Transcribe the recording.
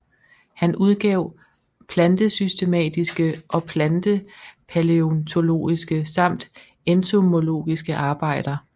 Han udgav plantesystematiske og plantepalæontologiske samt entomologiske arbejder